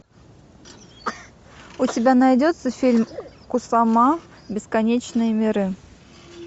у тебя найдется фильм кусама бесконечные миры